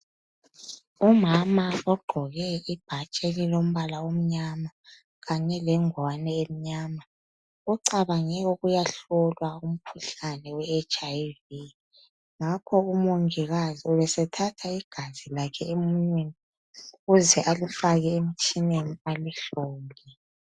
Umama ogqoke ibhatshi elilombala omnyama kanye lengwani emnyama ucabange ukuyahlolwa umkhuhlane we HIV ngakho u mongikazi ubesethatha igazi lakhe emunweni ukuze alifake emtshineni alihlole.